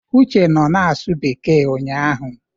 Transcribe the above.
Uche nọ na-asụ bekee ụnyahụ.